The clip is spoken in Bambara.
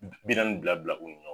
B bi naani bila bila o